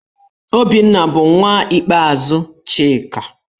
Obinna bụ nwa ikpeazụ Chika.